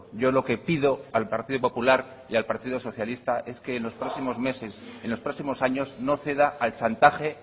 yo lo que pido al partido popular y al partido socialista es que en los próximos meses en los próximos años no ceda al chantaje